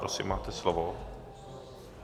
Prosím, máte slovo.